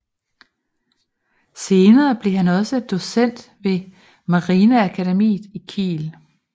Senere blev han også docent ved marineakademiet i Kiel